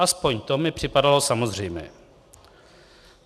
Aspoň to mi připadalo samozřejmé.